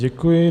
Děkuji.